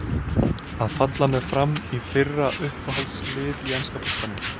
Að falla með FRAM í fyrra Uppáhalds lið í enska boltanum?